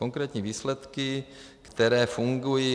Konkrétní výsledky, které fungují.